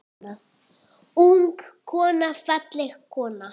Unga konu, fallega konu.